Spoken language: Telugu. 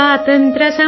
రేనాడు ప్రాంత వీరా